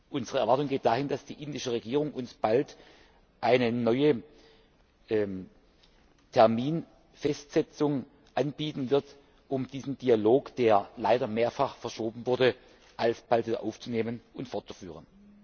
Unsere Erwartung geht dahin, dass die indische Regierung uns bald eine neue Terminfestsetzung anbieten wird, um diesen Dialog, der leider mehrfach verschoben wurde, alsbald wiederaufzunehmen und fortzuführen.